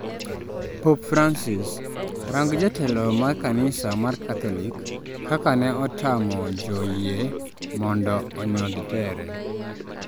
Pope Francs: Rang' jatelo mar kanisa mar catholic kaka ne otamo jo yie mondo onyodh tere